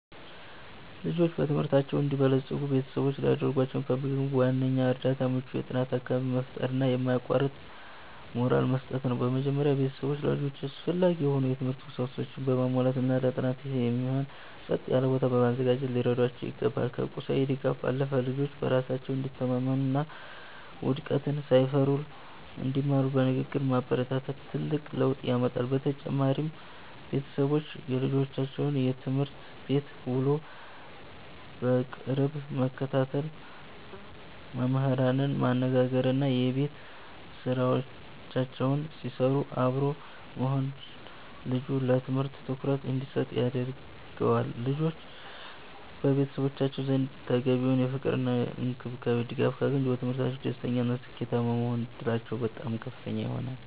ልጆች በትምህርታቸው እንዲበለጽጉ ቤተሰቦች ሊያደርጉላቸው የሚገባው ዋነኛው እርዳታ ምቹ የጥናት አካባቢን መፍጠርና የማያቋርጥ ሞራል መስጠት ነው። በመጀመሪያ፣ ቤተሰቦች ለልጆቻቸው አስፈላጊ የሆኑ የትምህርት ቁሳቁሶችን በማሟላትና ለጥናት የሚሆን ጸጥ ያለ ቦታ በማዘጋጀት ሊረዷቸው ይገባል። ከቁሳዊ ድጋፍ ባለፈ፣ ልጆች በራሳቸው እንዲተማመኑና ውድቀትን ሳይፈሩ እንዲማሩ በንግግር ማበረታታት ትልቅ ለውጥ ያመጣል። በተጨማሪም፣ ቤተሰቦች የልጆቻቸውን የትምህርት ቤት ውሎ በቅርብ መከታተል፣ መምህራንን ማነጋገርና የቤት ስራቸውን ሲሰሩ አብሮ መሆን ልጁ ለትምህርቱ ትኩረት እንዲሰጥ ያደርገዋል። ልጆች በቤተሰቦቻቸው ዘንድ ተገቢውን ፍቅርና ድጋፍ ካገኙ፣ በትምህርታቸው ደስተኛና ስኬታማ የመሆን ዕድላቸው በጣም ከፍተኛ ይሆናል።